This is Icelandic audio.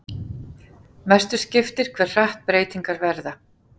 Miklu skiptir hve hratt breytingar verða.